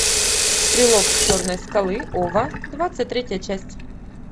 стрелок с черной скалы ова двадцать третья часть